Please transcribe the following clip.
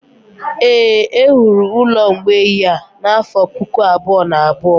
Éè, e wuru ụlọ mgbei a n’afọ Puku abụọ na abụọ.